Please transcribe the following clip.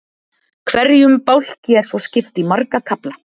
hverjum bálki er svo skipt í marga kafla